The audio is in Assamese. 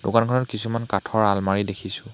দোকানখনত কিছুমান কাঠৰ আলমৰী দেখিছোঁ।